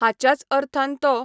हाच्याच अर्थान तो